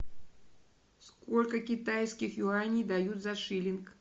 сколько китайских юаней дают за шиллинг